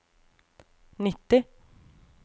nitti